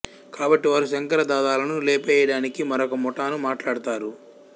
కాబట్టి వారు శంకర్ దాదాలను లేపెయ్యడానికి మరొక ముఠాను మాట్లాడుతారు